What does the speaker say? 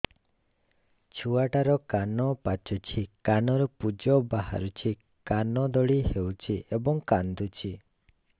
ଛୁଆ ଟା ର କାନ ପାଚୁଛି କାନରୁ ପୂଜ ବାହାରୁଛି କାନ ଦଳି ହେଉଛି ଏବଂ କାନ୍ଦୁଚି